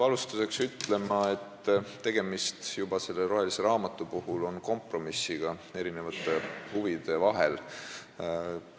Alustuseks peab ütlema, et juba see roheline raamat on kompromiss eri huvide vahel.